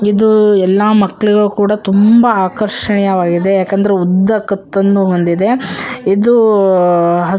ಇದು ಎಲ್ಲ ಮಕ್ಳು ಕೂಡ ಆಕರ್ಷಿಣಿಯ ವಾಗಿದೆ ಯಾಕಂದ್ರೆ ಉದ್ದ ಕತ್ತನ್ನು ಹೊಂದಿದೆ ಇದು ಹಸ್ರು--